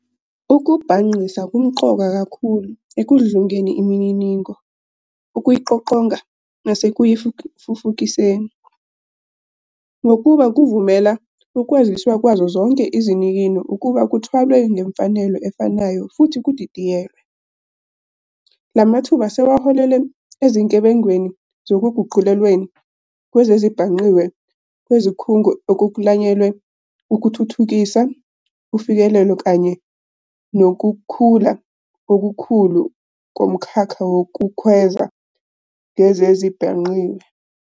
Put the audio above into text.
Ukubhangqisa kumqoka kakhulu ekudludlungeni imininingo, ukuyiqoqonga, nasekuyifufukiseni, ngokuba "kuvumela ukwaziswa kwazo zonke izinikino ukuba kuthwalwe ngemfanelo efanayo futhi kudidiyelwe." Lamathuba sewaholele ezinkebengweni zokuguqulelweni kwezezibhangqiwe kwezikhungo okuklanyelwe ukuthuthukisa ufikelelo kanye nokukhula okukhulu komkhakha wokukhweza ngezezibhangqiwe.